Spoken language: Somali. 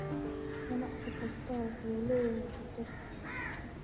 Ganacsi kastaa wuxuu leeyahay khatartiisa.